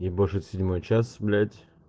ебошит седьмой час блять